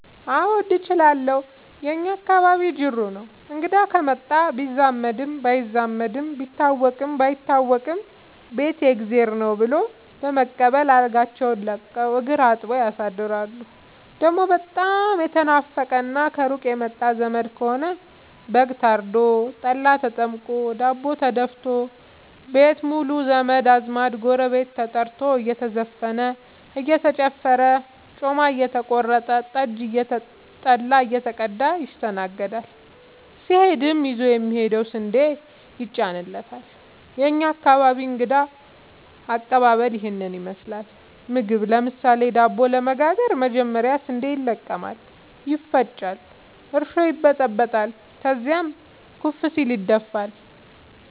አዎድ እችላለሁ የእኛ አካባቢ ጅሩ ነው። እንግዳ ከመጣ ቢዛመድም ባይዛመድም ቢታወቅም ባይታወቅም ቤት የእግዜር ነው። ብሎ በመቀበል አልጋቸውን ለቀው እግር አጥበው ያሳድራሉ። ደሞ በጣም የተናፈቀና ከሩቅ የመጣ ዘመድ ከሆነ በግ ታርዶ፤ ጠላ ተጠምቆ፤ ዳቦ ተደፋቶ፤ ቤት ሙሉ ዘመድ አዝማድ ጎረቤት ተጠርቶ እየተዘፈነ እየተጨፈረ ጮማ እየተቆረጠ ጠጅ ጠላ እየተቀዳ ይስተናገዳል። ሲሄድም ይዞ የሚሄደው ስንዴ ይጫንለታል። የእኛ አካባቢ እንግዳ ከቀባበል ይህን ይመስላል። ምግብ ለምሳሌ:- ዳቦ ለመጋገር መጀመሪያ ስንዴ ይለቀማል ይፈጫል እርሾ ይበጠበጣል ከዚያም ኩፍ ሲል ይደፋል።